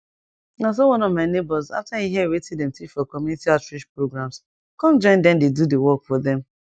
na so one of my neighbors after e hear wetin dem teach for community outreach programs come join dem dey do the work for dem